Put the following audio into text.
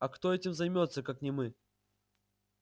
а кто этим займётся как не мы